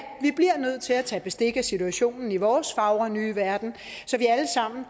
bliver nødt til at tage bestik af situationen i vores fagre nye verden så vi alle sammen